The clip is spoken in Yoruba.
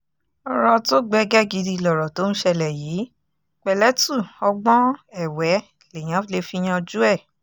ọ̀rọ̀ tó gbẹgẹ́ gidi lọ̀rọ̀ tó ń ṣẹlẹ̀ yìí pẹ̀lẹ́tù ọgbọ́n ẹ̀wẹ́ lèèyàn lè fi yanjú ẹ̀